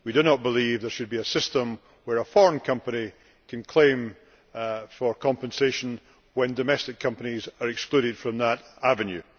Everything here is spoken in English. We do not believe that there should be a system where a foreign company can claim for compensation when domestic companies are excluded from that avenue.